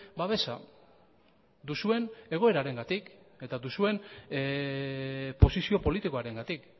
babesa duzuen egoerarengatik eta duzuen posizio politikoarengatik